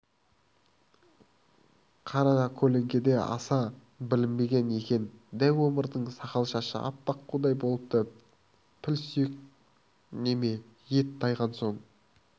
қаракөлеңкеде аса білінбеген екен дәу омардың сақал-шашы аппақ қудай болыпты піл сүйек неме ет тайған соң